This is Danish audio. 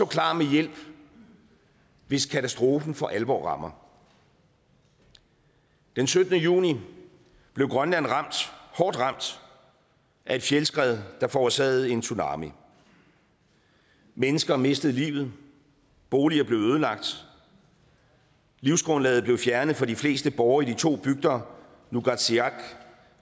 klar med hjælp hvis katastrofen for alvor rammer den syttende juni blev grønland hårdt ramt af et fjeldskred der forårsagede en tsunami mennesker mistede livet boliger blev ødelagt livsgrundlaget blev fjernet for de fleste borgere i de to bygder nuugaatsiaq